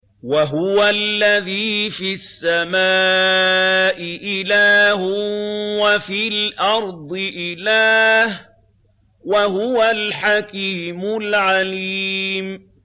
وَهُوَ الَّذِي فِي السَّمَاءِ إِلَٰهٌ وَفِي الْأَرْضِ إِلَٰهٌ ۚ وَهُوَ الْحَكِيمُ الْعَلِيمُ